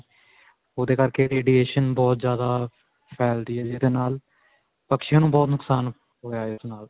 ਓਹਦੇ ਕਰਕੇ radiation ਬਹੁਤ ਜਿਆਦਾ ਫੈਲ ਰਹੀ ਹੈ ਜਿਦੇ ਨਾਲ ਪਕਸ਼ਿਆ ਨੂੰ ਬਹੁਤ ਨੁਕਸਾਨ ਹੋਇਆ ਇਸ ਨਾਲ.